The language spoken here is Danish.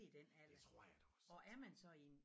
Det tror jeg da også